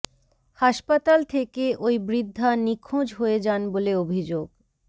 হাসপাতাল থেকে ওই বৃদ্ধা নিখোঁজ হয়ে যান বলে অভিযোগ